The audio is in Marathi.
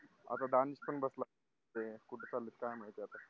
आता डान्स पण बसला असते कुठ चालू आहे काय माहिती आता